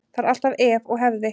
Það er alltaf ef og hefði.